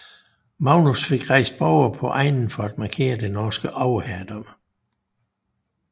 Magnus fik rejst borge på egnen for at markere det norske overherredømme